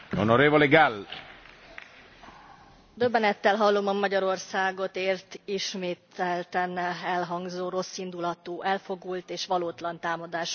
Elnök Úr, döbbenettel hallom a Magyarországot ért ismételten elhangzó rosszindulatú, elfogult és valótlan támadásokat.